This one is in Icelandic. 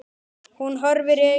Hún horfir í augu hans.